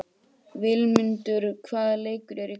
Vilmundur, hvaða leikir eru í kvöld?